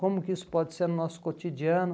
Como que isso pode ser no nosso cotidiano?